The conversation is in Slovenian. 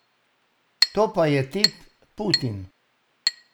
To pa je tip Putin.